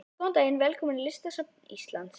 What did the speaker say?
Góðan dag. Velkomin á Listasafn Íslands.